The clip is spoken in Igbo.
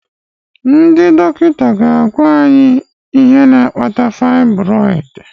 Ndị dọkịta ga agwa any ihe na akpata fibroid